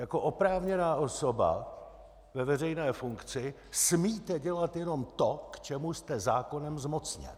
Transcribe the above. Jako oprávněná osoba ve veřejné funkci smíte dělat jenom to, k čemu jste zákonem zmocněn.